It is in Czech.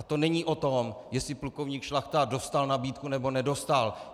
A to není o tom, jestli plukovník Šlachta dostal nabídku, nebo nedostal.